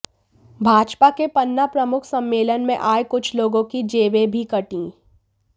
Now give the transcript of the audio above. भाजपा के पन्ना प्रमुख सम्मेलन में आए कुछ लोगों की जेबें भी कटीं